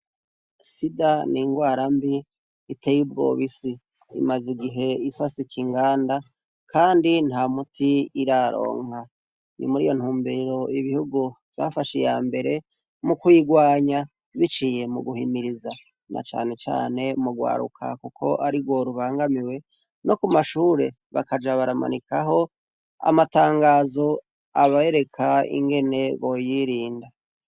Sida ni ingwara mbi itewi b wobisi imaze igihe isa sika inganda, kandi nta muti iraronka ni muri yo ntumbero ibihugu vyafashe iya mbere mu kwirwanya biciye mu guhimiriza na canecane mugwaruka, kuko ari rworubangamiwe no ku mashure bakaja baramanikaho amatangazo abaereka ingene boyirinda.